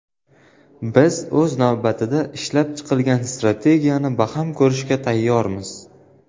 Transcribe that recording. Biz, o‘z navbatida, ishlab chiqilgan strategiyani baham ko‘rishga tayyormiz.